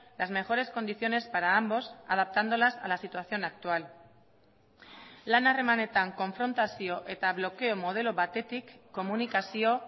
las mejores condiciones para ambos adaptándolas a la situación actual lan harremanetan konfrontazio eta blokeo modelo batetik komunikazio